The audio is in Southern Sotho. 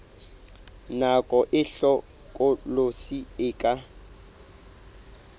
nako e hlokolosi e ka